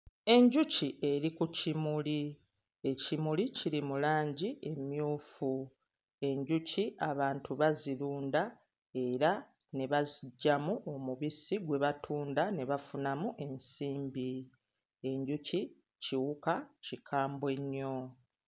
Enjuki eri ku kimuli. Ekimuli kiri mu langi emmyufu. Enjuki abantu bazirunda era ne baziggyamu omubisi gwe batunda ne bafunamu ensimbi. Enjuki kiwuka kikambwe nnyo.